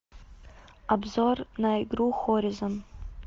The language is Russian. обзор на игру хоризон